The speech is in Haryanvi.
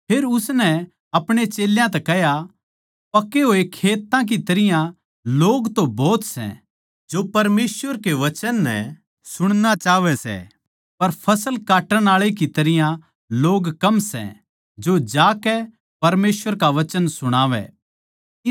फेर उसनै अपणे चेल्यां तै कह्या पके होए खेत्तां की तरियां लोग तो भोत सै जो परमेसवर के वचन नै सुणणा चाहवै सै पर फसल काट्टण आळे तो भोत कम लोग सै जो उन ताहीं जाकै परमेसवर का वचन सुणावै